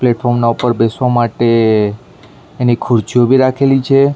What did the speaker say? પ્લેટફોર્મના ના ઉપર બેસવા માટે એની ખુર્ચીઓ ભી રાખેલી છે.